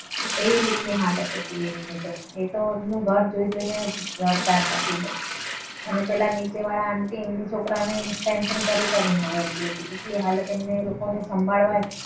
એવી રીતની હાલત હતી તેમની તો એ તો એમનું ઘર જોઈ જોઈને રડતા હતા. ખૂબ જ આને પહેલા નીચેવાળા aunty એમના છોકરાને ટેન્શન કરી કરીને રડતી હતી. એવી હાલત એમના લોકોને સાંભળવા.